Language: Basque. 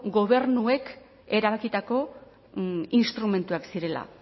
gobernuek erabakitako instrumentuak zirela